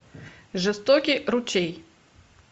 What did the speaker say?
жестокий ручей